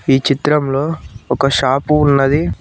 ఈ చిత్రంలో ఒక షాపు ఉన్నది.